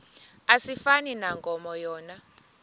asifani nankomo yona